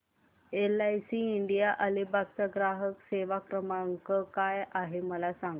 LIC India Alibag चा ग्राहक सेवा क्रमांक काय आहे मला सांगा